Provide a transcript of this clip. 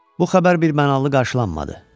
Bu xəbər birmənalı qarşılanmadı.